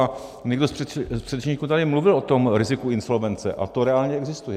A někdo z předřečníků tady mluvil o tom riziku insolvence a to reálně existuje.